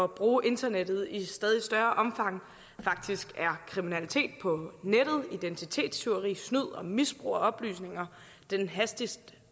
bruge internettet i stadig større omfang faktisk er kriminalitet på nettet identitetstyveri snyd og misbrug af oplysninger den hastigst